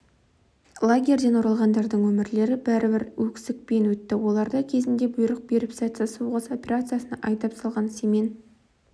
лагерьден оралғандардың өмірлері бәрібір өксікпен өтті оларды кезінде бұйрық беріп сәтсіз соғыс операциясына айдап салған семен